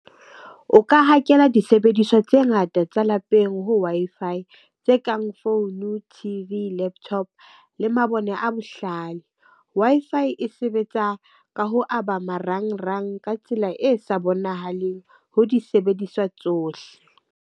O ka hakela disebediswa tse ngata tsa lapeng ho Wi-Fi tse kang founu, T_V, laptop le mabone a bohlale. Wi-Fi e sebetsa ka ho aba marangrang ka tsela e sa bonahaleng ho disebediswa tsohle.